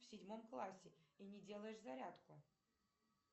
в седьмом классе и не делаешь зарядку